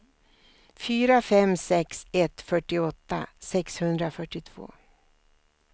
fyra fem sex ett fyrtioåtta sexhundrafyrtiotvå